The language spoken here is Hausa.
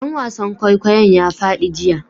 Dan wasan kwaikwayon ya fadi jiya